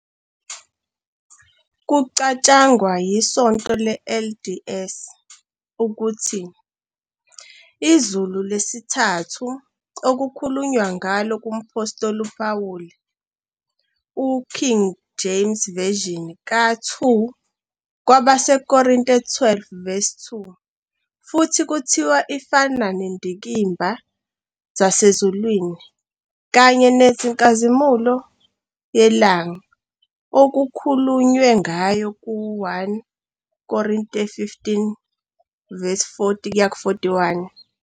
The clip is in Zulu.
Kucatshangwa yiSonto le-LDS ukuthi " izulu lesithathu " okukhulunywa ngalo ngumphostoli uPawuli ku- King James Version ka- 2 KwabaseKorinte 12-2 futhi kuthiwa lifana "nezindikimba zasezulwini" kanye "nenkazimulo yelanga" okukhulunywe ngayo ku- 1 Korinte 15-40-41.